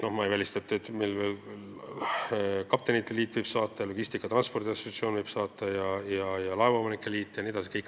Ma ei välista, et meile võivad saata kirja veel kaptenite klubi, Logistika ja Transiidi Assotsiatsioon, laevaomanike liit jne.